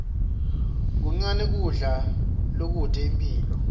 kuncane kudla lokute imphilo